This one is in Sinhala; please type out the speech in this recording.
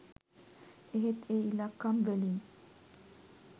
එහෙත් ඒ ඉලක්කම් වලින්